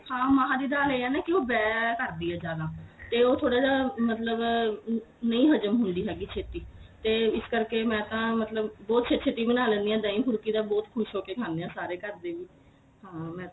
ਹਾਂ ਮਾਂ ਦੀ ਦਾਲ ਇਹ ਏ ਨਾ ਕੀ ਉਹ ਬੈ ਸਕਦੀ ਏ ਜਿਆਦਾ ਤੇ ਉਹ ਥੋੜਾ ਜਾ ਮਤਲਬ ਨਹੀਂ ਹਜਮ ਹੁੰਦੀ ਹੈਗੀ ਛੇਤੀ ਤੇ ਇਸ ਕਰਕੇ ਮੈਂ ਤਾਂ ਮਤਲਬ ਬਹੁਤ ਛੇਤੀ ਛੇਤੀ ਬਣਾ ਲੈਨੀ ਆ ਦਹੀ ਫੁਲਕੀ ਦਾ ਬਹੁਤ ਖੁਸ਼ ਹੋ ਕੇ ਖਾਨੇ ਏ ਸਾਰੇ ਘਰਦੇ ਹਾਂ ਮੈਂ